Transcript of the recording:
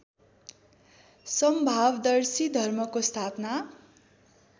समभावदर्शी धर्मको स्थापना